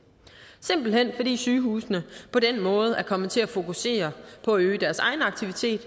simpelt hen fordi sygehusene på den måde er kommet til at fokusere på at øge deres egen aktivitet